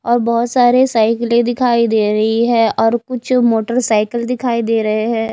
और बहोत सारे साइकिले दिखाई दे रही है और कुछ मोटरसाइकिल दिखाई दे रहे हैं।